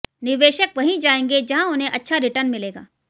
निवेशक वहीं जाएंगे जहां उन्हें अच्छा रिटर्न मिलेगा